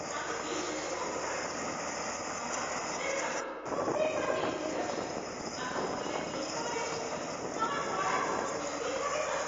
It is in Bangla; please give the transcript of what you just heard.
আমি বিশ্বাসই করতে পারছি না! আমার খবরের কাগজ প্রত্যেকবার দেরি করে আসে, আর সকালের জলখাবারের সময় আমার পড়ার মতো কিছুই থাকে না।